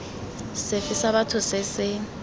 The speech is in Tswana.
sefe sa batho se se